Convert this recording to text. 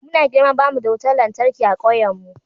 Muna girma ba mu da wutar lantarki a kauyenmu.